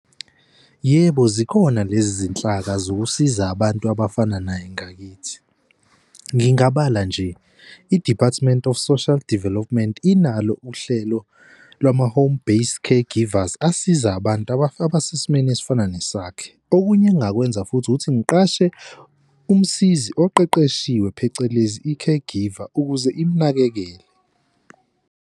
Yebo, zikhona lezi zinhlaka zokusiza abantu abafana naye ngakithi. Ngingabala nje i-Department of Social Development inalo uhlelo lwama-home-based caregivers asiza abantu abesesimeni esifana ngesakhe. Okunye engingakwenza futhi ukuthi ngiqashe umsizi oqeqeshiwe phecelezi i-caregiver ukuze imunakekele.